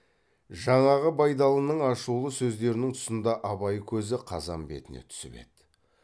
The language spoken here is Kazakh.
жаңағы байдалының ашулы сөздерінің тұсында абай көзі қазан бетіне түсіп еді